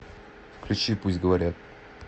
включи пусть говорят